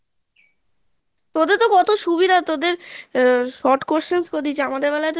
তাদেরতো কত সুবিধা তোদের আহ short questions করে দিয়েছে আমাদের বেলায় তো